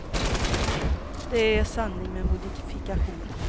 Det är en sanning med modifikation.